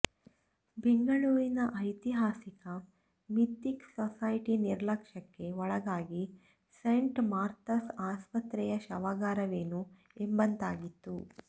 ಬೆಂಗಳೂರಿನ ಐತಿಹಾಸಿಕ Mythic Society ನಿರ್ಲಕ್ಷ್ಯಕ್ಕೆ ಒಳಗಾಗಿ ಸೇಂಟ್ ಮಾರ್ಥಾಸ್ ಆಸ್ಪತ್ರೆಯ ಶವಾಗಾರವೇನೋ ಎಂಬತಾಗಿತ್ತು